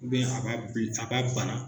a b'a bana